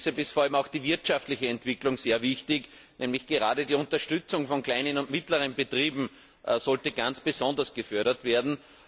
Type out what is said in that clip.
Deshalb ist vor allem auch die wirtschaftliche Entwicklung sehr wichtig, und gerade die Unterstützung von kleinen und mittleren Betrieben sollte ganz besonders gefördert werden.